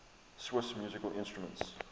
swiss musical instruments